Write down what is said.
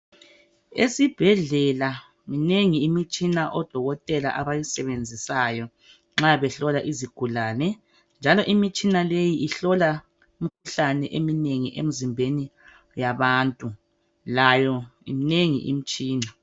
Esibhedlela minengi imitshina odokotela abayisebenzisayo nxa behlola izigulane njalo imitshina leyi ihlola imikhuhlane eminengi emzimbeni yabantu. Layo imnengi imitshina.